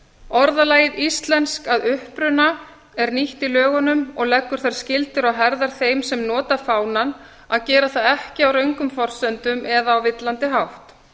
orðalagið íslensk að uppruna er nýtt í lögunum og leggur þær skyldur á herðar þeim sem nota fánann að gera það ekki á röngum forsendum eða á villandi hátt